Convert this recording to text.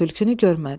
Tülkünü görmədi.